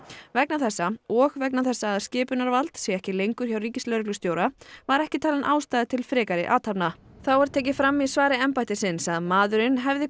vegna þessa og vegna þess að skipunarvald sé ekki lengur hjá ríkislögreglustjóra var ekki talin ástæða til frekari athafna þá er tekið fram í svari embættisins að maðurinn hafi